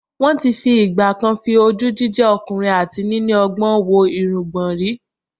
Wọ́n ti ìgbà-kan fi ojú jíjẹ́ ọkùnrin àti níní ọgbọ́n wo irungbọ̀ rí